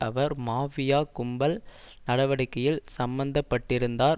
அவர் mafia கும்பல் நடவடிக்கையில் சம்மந்தப்பட்டிருந்தார்